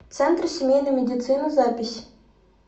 центр семейной медицины запись